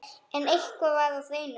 En eitt var á hreinu.